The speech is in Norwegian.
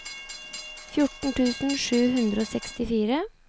fjorten tusen sju hundre og sekstifire